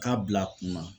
K'a bila kunna